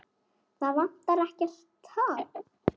Það vantar ekkert, ha?